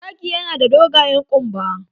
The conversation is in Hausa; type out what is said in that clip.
Zaki ya na da dogayen kumba